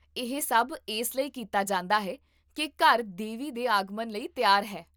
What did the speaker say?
ਇਹ ਸਭ ਇਸ ਲਈ ਕੀਤਾ ਜਾਂਦਾ ਹੈ ਕੀ ਘਰ ਦੇਵੀ ਦੇ ਆਗਮਨ ਲਈ ਤਿਆਰ ਹੈ